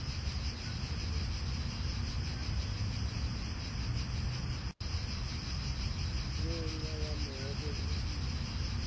ngenca yanobe ngusiphi